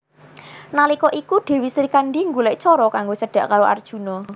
Nalika iku Dèwi Srikandhi golèk cara kanggo cedhak karo Arjuna